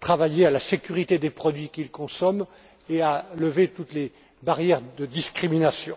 travailler à garantir la sécurité des produits qu'ils consomment et à lever toutes les barrières de discrimination.